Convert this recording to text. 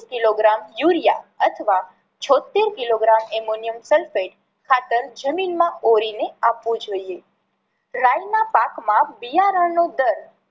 Kilogram urea અથવા છોતેર kilogram Ammonium sulphate ખાતર જમીન માં ઓરી ને આપવું જોઈએ. રાઈ ના પાકમાં બિયારણ નો દર